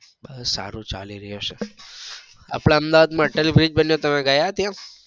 બસ સારું ચાલી રહ્યું છે. આપડા અહમેદાબાદ માં અટલ bridge બન્યો તમે ગયા ત્યાં?